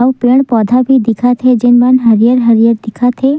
आऊ पेड़-पौधा भी दिखत हे जेन मन हरियर-हरियर दिखत हे।